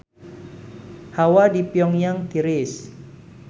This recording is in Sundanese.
Hawa di Pyong Yang tiris